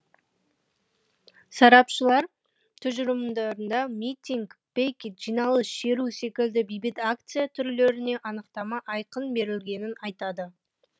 сарапшылар тұжырымдауда митинг пикет жиналыс шеру секілді бейбіт акция түрлеріне анықтама айқын берілгенін айтады